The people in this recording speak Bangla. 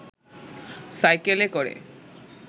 সাইকেলে করে